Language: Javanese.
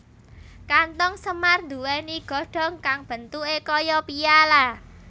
Kanthong semar nduwèni godhong kang bentuké kaya piala